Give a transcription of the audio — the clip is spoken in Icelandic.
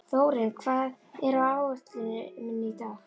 Þórinn, hvað er á áætluninni minni í dag?